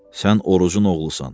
Sən Orucun oğlusan.